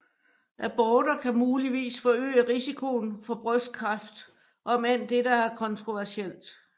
Aborter kan muligvis forøge risikoen for brystkræft om end dette er kontroversielt